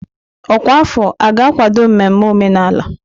Ọkwa afọ a ga-akwado mmemme omenala?